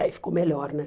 E aí ficou melhor, né?